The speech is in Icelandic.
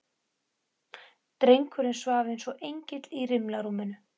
Drengurinn svaf eins og engill í rimlarúminu.